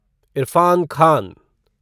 Irfan Khan